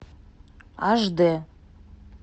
аш дэ